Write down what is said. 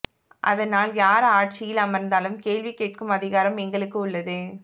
அதனால் யார் ஆட்சியில் அமர்ந்தாலும் கேள்வி கேட்கும் அதிகாரம் எங்களுக்கு உள்ளது